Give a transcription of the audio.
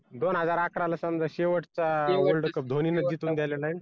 दोन हजार अकरा ला समजा शेवटचा world cup धोनीने जिंकून दिलेला